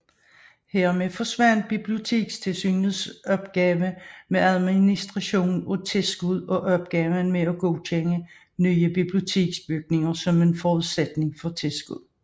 Hermed bortfald Bibliotekstilsynets opgave med administration af tilskud og opgaven med at godkende nye biblioteksbygninger som forudsætning for tilskud